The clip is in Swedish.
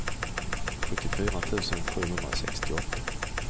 sjuttiofyra tusen sjuhundrasextioåtta